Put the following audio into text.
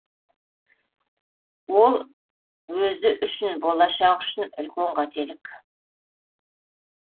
ол өзі үшін болашағы үшін үлкен қателік